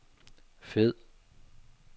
fed